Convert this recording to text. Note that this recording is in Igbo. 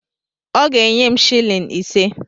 Ọ ga-enye m silin ise.